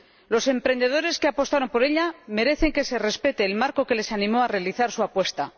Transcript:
Los emprendedores que apostaron por ella merecen que se respete el marco que les animó a realizar su apuesta.